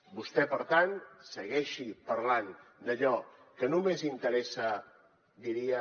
vostè per tant segueixi parlant d’allò que només interessa diria